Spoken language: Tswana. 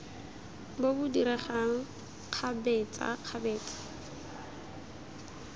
bo bo diregang kgabetsa kgabetsa